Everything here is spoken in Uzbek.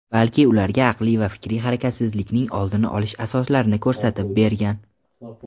balki ularga aqliy va fikriy harakatsizlikning oldini olish asoslarini ko‘rsatib bergan.